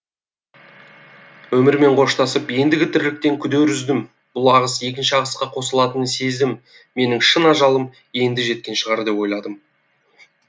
өмірмен қоштасып ендігі тірліктен күдер үздім бұл ағыс екінші ағысқа қосылатынын сездім менің шын ажалым енді жеткен шығар деп ойладым